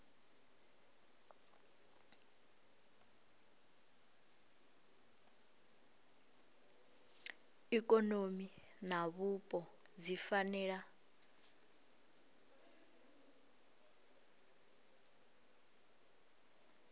ikonomi na vhupo dzi fanela